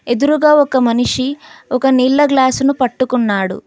ఎదురుగా ఒక మనిషి ఒక నీళ్ళ గ్లాసు ను పట్టుకున్నాడు.